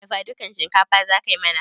Dafadukan shinkafa za ka yi mana?